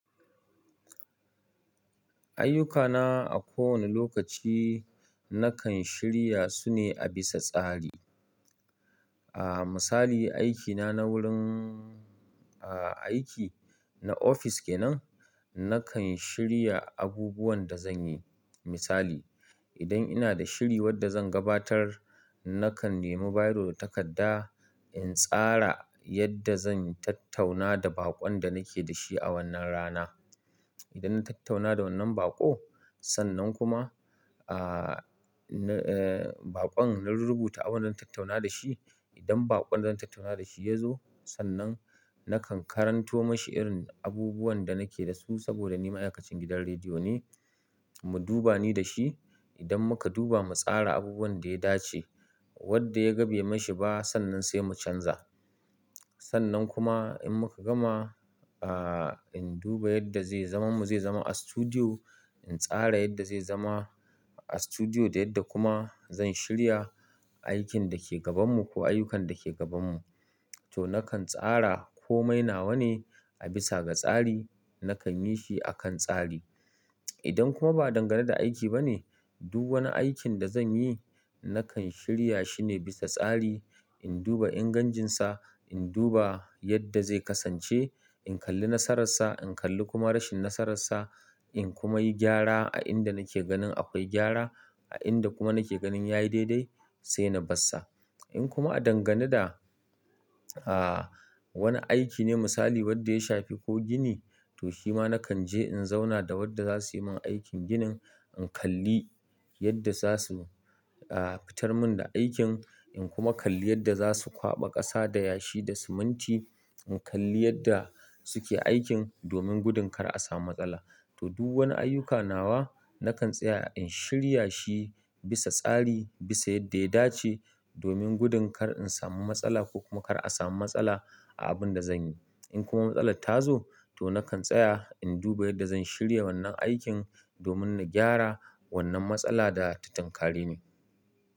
Ayyukana a kowane lokaci nakan shirya su ne a bisa tsari. Ah misali, aikina na wurin aiki na ofis kenan, nakan shirya abubuwan da zan yi. Misali, idan ina da shiri wadda zan gabatar, nakan nemi biro takarda in tsara yadda zan tattauna da baƙon da nake da shi a wannan rana. Idan na tattauna da wannan baƙo, sannan kuma, ah, na, eh, baƙon na rubuta abin da na tattauna da shi. Idan baƙon da na tattauna da shi ya zo, sannan nakan karanto mashi irin abubuwan da nake da su saboda ni ma'aikacin gidan rediyo ne. Mu duba ni da shi. Idan muka duba mu tsara abubuwan da ya dace wadda ya ga bai mashi ba, sannan sai mu canza. Sannan kuma in muka gama, ah, in duba yadda zai zama mu zai zama a studio, in tsara yadda zai zama a studio da yadda kuma zan shirya aikin da ke gabanmu ko ayyukan da ke gabanmu. To nakan tsara ko mai nawa ne a bisa ga tsari, nakan yi shi a kan tsari. Idan kuma ba dangane da aiki ba ne, duk wani aikin da zan yi nakan shirya shi ne bisa tsari. In duba ingancinsa, in duba yadda zai kasance, in kalli nasararsa, in kalli kuma rashin nasararsa, in kuma yi gyara a inda nake ganin akwai gyara. A ina nake ganin kuma yayi daidai, sai na barsa. In kuma a dangane da, ah, wani aiki ne misali wadda ya shafi ko gini, to shi ma nakan je in zauna da wadda za su yi min aikin ginin. In kalli yadda za su, ah, fitar mun da aikin, in kuma kalli yadda za su kwaɓa ƙasa da yashi da siminti. In kalli yadda suke aikin domin gudun kar a samu matsala. To duk wani ayyuka nawa nakan tsaya in shirya shi bisa tsari, bisa yadda ya dace domin gudun kar in samu matsala ko kuma kar a samu matsala, a abun da zan yi. In kuma matsalar tazo, to na kan tsaya in duba yanda zan shirya wannan aikin, domin ba gyara wannan matsala da ta tunkareni.